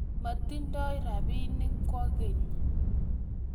moting'doi robinik kwekeny